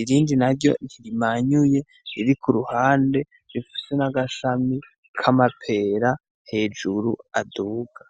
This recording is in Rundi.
irindi naryo ntirimanyuye riri kuruhande rifise n'agashami k'amapera hejuru aduga.